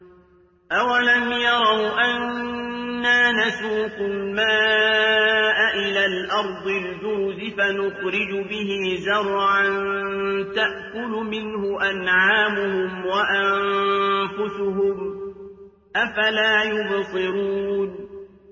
أَوَلَمْ يَرَوْا أَنَّا نَسُوقُ الْمَاءَ إِلَى الْأَرْضِ الْجُرُزِ فَنُخْرِجُ بِهِ زَرْعًا تَأْكُلُ مِنْهُ أَنْعَامُهُمْ وَأَنفُسُهُمْ ۖ أَفَلَا يُبْصِرُونَ